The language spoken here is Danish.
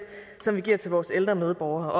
som vi giver til vores ældre medborgere